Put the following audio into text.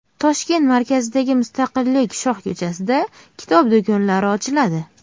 Toshkent markazidagi Mustaqillik shohko‘chasida kitob do‘konlari ochiladi.